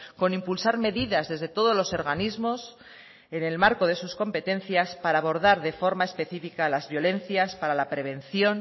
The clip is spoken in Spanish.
con impulsar medidas desde todos los organismos en el marco de sus competencias para abordar de forma específica las violencias para la prevención